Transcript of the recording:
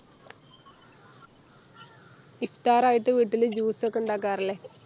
ഇഫ്‌താർ ആയിട്ട് വീട്ടില് Juice ഒക്കെ ഇണ്ടാക്കാറില്ലേ